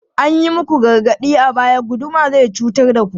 An yi muku gargaɗi a baya, guduma zai cutar da ku!